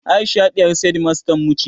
Aisha ɗiyar shedimastan mu ce